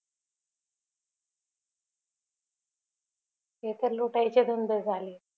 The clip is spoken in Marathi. हे तर लुटायचे धंदे झाले